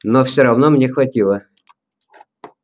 но всё равно мне хватило